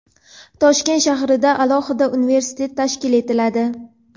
Toshkent shahrida alohida universitet tashkil etiladi.